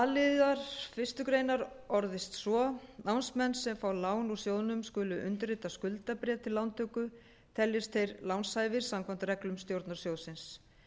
liðar fyrstu grein orðist svo námsmenn sem fá lán úr sjóðnum skulu undirrita skuldabréf við lántöku teljist þeir lánshæfir samkvæmt reglum stjórnar sjóðsins